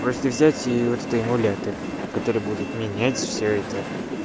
просто взять вот это эмулятор который будет менять всё это